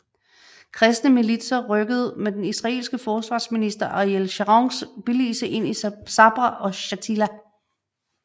Kristne militser rykkede med den israelske forsvarsminister Ariel Sharons billigelse ind i Sabra og Shatila